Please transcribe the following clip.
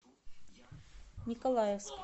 николаевск